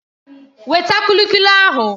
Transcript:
Weta kulikuli ahụ!